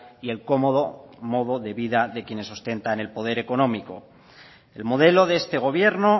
y el cómodo modo de vida de quienes sustentan el poder económico el modelo de este gobierno